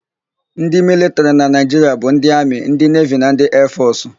Ndị militrị na Naịjiria bụ ndị amị, ndị nevi na ndị eefọsụ.